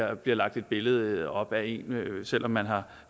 der bliver lagt et billede op af en selv om man har